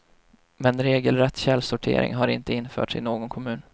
Men regelrätt källsortering har inte införts i någon kommun.